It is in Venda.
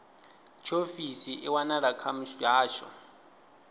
tshiofisi i wanala kha muhasho